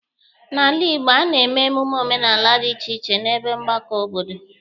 N'ala Igbo, a na-eme emume omenala dị iche iche n'ebe mgbakọ obodo.